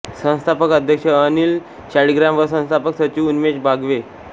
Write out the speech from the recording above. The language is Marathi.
संस्थापक अध्यक्ष अनिल शाळीग्राम व संस्थापक सचिव उन्मेष बागवे